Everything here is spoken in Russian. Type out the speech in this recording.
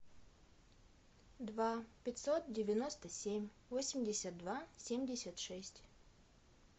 два пятьсот девяносто семь восемьдесят два семьдесят шесть